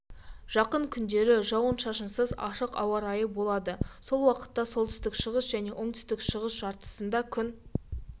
жақын күндері жауын-шашынсыз ашық ауа райы болады сол уақытта солтүстік шығыс және оңтүстік-шығыс жартысында күн